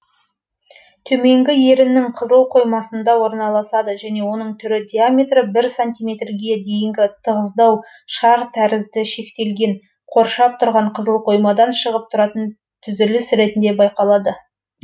төменгі еріннің қызыл қоймасында орналасады және оның түрі диаметрі бір сантиметр ге дейінгі тығыздау шар тәрізді шектелген қоршап тұрған қызыл қоймадан шығып тұратын түзіліс ретінде байқалады